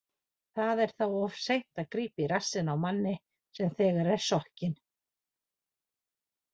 Það er þá of seint að grípa í rassinn á manni sem þegar er sokkinn.